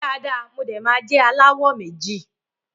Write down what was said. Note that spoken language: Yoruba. Ṣe mi dada mo de ma jẹ alawọ méjì.